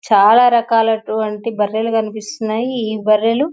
చాలా రకాలైనటువంటి బర్రెలు కనిపిస్తున్నాయి ఈ బర్రెలు--